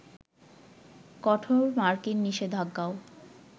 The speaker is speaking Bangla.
কঠোর মার্কিন নিষেধাজ্ঞাও